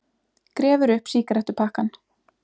Grefur upp sígarettupakkann.